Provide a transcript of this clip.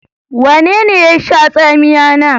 Wanene ye sha tsamiya na?